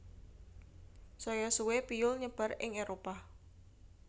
Saya suwe piyul nyebar ing Éropah